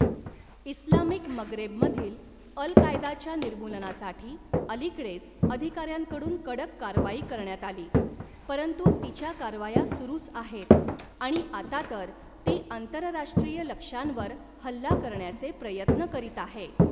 Islamic मगरेबमधील अल कायदाच्या निर्मूलनासाठी अलीकडेच अधिकार्यांकडून कडक कारवाई करण्यात आली, परंतु तिच्या कारवाया सुरूच आहेत आणि आता तर ती आंतरराष्ट्रीय लक्ष्यांवर हल्ला करण्याचे प्रयत्न करीत आहे.